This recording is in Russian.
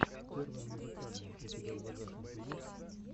первое музыкальное у тебя в загашнике есть